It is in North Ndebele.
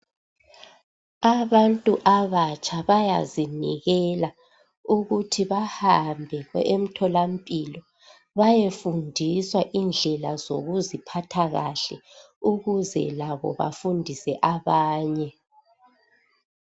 Abantu abatsha bayazinikela ukuthi bahambe emtholampilo bayefundiswa indlela zokuziphatha kahle ukuze labo bafundise abanye .